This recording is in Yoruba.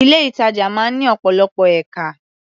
Ilé-ìtàjà máa ń ní ọ̀pọ̀lọpọ̀ ẹ̀ka.